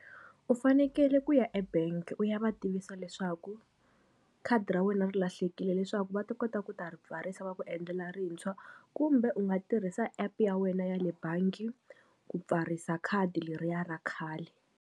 U fanekele ku ya ebangi u ya va tivisa leswaku khadi ra wena ri lahlekile leswaku va ta kota ku ta ri pfarisa va ku endlela rintshwa kumbe u nga tirhisa epu ya wena ya le bangi ku pfarisa khadi leriya ra khale.